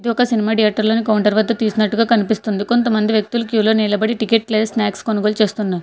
ఇది ఒక సినిమా థియేటర్లో ని కౌంటర్ వద్ద తీసినట్టుగా కనిపిస్తుంది కొంతమంది వ్యక్తులు క్యూలో నిలబడి టికెట్ ప్లేస్ స్నాక్స్ కొనుగోలు చేస్తున్నారు.